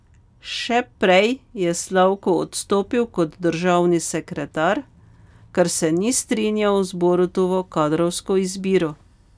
Še prej je Slavko odstopil kot državni sekretar, ker se ni strinjal z Borutovo kadrovsko izbiro.